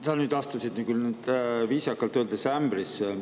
Sa nüüd astusid küll viisakalt öeldes ämbrisse.